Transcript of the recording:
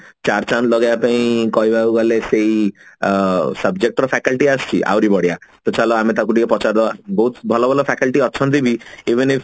ଚାରଚାନ୍ଦ ଲଗେଇବା ପାଇଁ କହିବାକୁ ଗଲେ ସେଇ subject ର faculty ଆସିଛି ଆହୁରି ବଢିଆ ତ ଚାଲ ଆମେ ତାକୁ ଟିକେ ପଚାରି ଦବା ବହୁତ ଭଲ ଭଲ faculty ଅଛନ୍ତି ବି